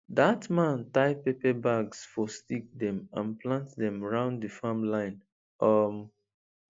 that man tie pepper bags for stick dem and plant dem round the farm line um